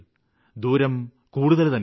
ദൂരം കൂടുതല് തന്നെയാണ്